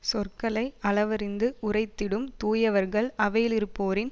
சொற்களை அளவறிந்து உரைத்திடும் தூயவர்கள் அவையிலிருப்போரின்